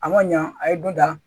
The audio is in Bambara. A ma ɲa a ye don da